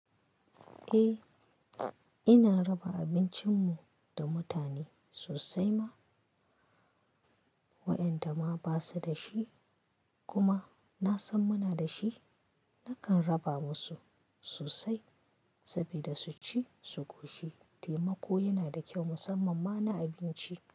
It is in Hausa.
Eh, ina raba abincin mu da mutane, sosai ma, waƴanda ma basu da shi. Kuma, na san muna da shi, nakan raba musu, sosai. Saboda su ci su ƙoshi. Taimako yana da kyau musamman ma na abinci.